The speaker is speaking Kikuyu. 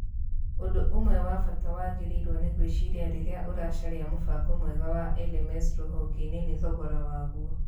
Ũndũ ũmwe wa bata wagĩrĩirũo nĩ gwĩciria rĩrĩa ũracaria mũbango mwega wa LMS rũhonge-inĩ nĩ thogora waguo.